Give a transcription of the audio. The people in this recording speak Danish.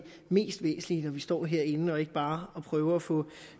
mest væsentlige når vi står herinde og ikke bare at prøve at få